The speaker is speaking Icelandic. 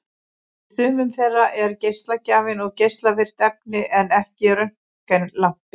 Í sumum þeirra er geislagjafinn geislavirkt efni en ekki röntgenlampi.